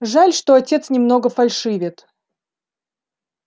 жаль что отец немного фальшивит